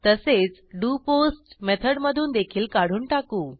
तसेच डोपोस्ट मेथडनधून देखील काढून टाकू